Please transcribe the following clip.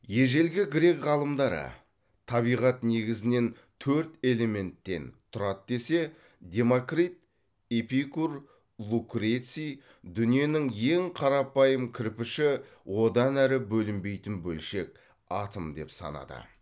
ежелгі грек ғалымдары табиғат негізінен төрт элементтен тұрады десе демокрит эпикур лукреций дүниенің ең қарапайым кірпіші одан әрі бөлінбейтін бөлшек атом деп санады